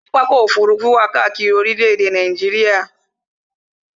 Pápákọ̀ ọ̀kọ òfurufú wà káàkiri orílẹ̀-èdè Nàìjíríà